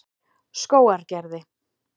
Skógargerði